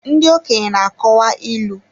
Ndị okenye na-akọwa ilu.